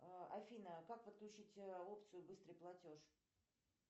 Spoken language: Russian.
афина как подключить опцию быстрый платеж